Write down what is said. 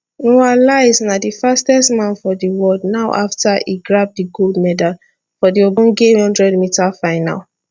noah lyles na di fastest man for di world now afta e grab di gold medal for di ogbonge 100m final